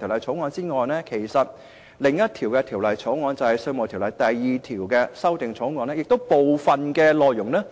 除了這項《條例草案》外，另一項《2017年稅務條例草案》的部分內容，